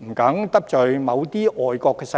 不敢得罪某些外國勢力。